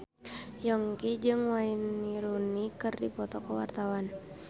Yongki jeung Wayne Rooney keur dipoto ku wartawan